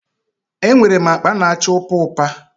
E nwere m akpa na-acha ụpa ụpa